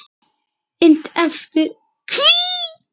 Innt eftir: Hví?